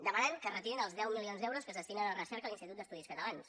demanen que es retirin els deu milions d’euros que es destinen a recerca a l’institut d’estudis catalans